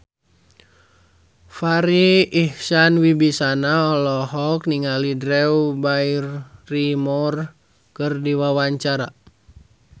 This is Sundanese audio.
Farri Icksan Wibisana olohok ningali Drew Barrymore keur diwawancara